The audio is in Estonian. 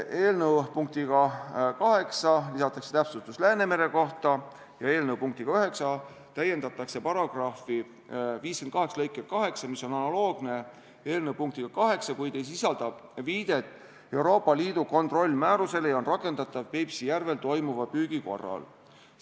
Eelnõu punktiga 8 lisatakse täpsustus Läänemere kohta ja eelnõu punktiga 9 täiendatakse § 58 lõiget 8, mis on analoogne eelnõu punktiga 7, kuid ei sisalda viidet Euroopa Liidu kontrollmäärusele ja on rakendatav Peipsi järvel toimuva püügi korral.